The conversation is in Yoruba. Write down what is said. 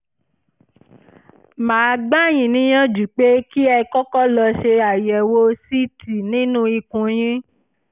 mà á gbà yín níyànjú pé kẹ́ ẹ kọ́kọ́ lọ ṣe àyẹ̀wò ct nínú ikùn yín